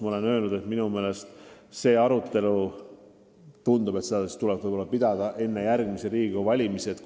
Ma olen öelnud, et minu meelest tuleks seda arutelu pidada enne järgmisi Riigikogu valimisi.